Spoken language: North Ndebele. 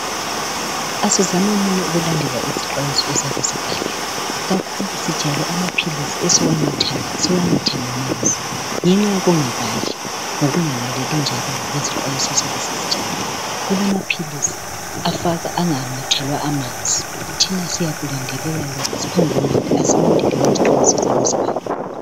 Asizamenini ukulandela isixwayiso esiyabe sibhaliwe. Kakhulu sijayele amaphilisi esiwanathayo siwanathe ngamanzi, ngenxa yokungabali lokungalaleli njalo ngezixwayiso esiyabe sizitsheliwe. Kulamaphilisi anganathelwa amanzi thina siyakulandelela lokho siphongunatha. Asilandeleni izixhwayiso eziyabe zibhaliwe.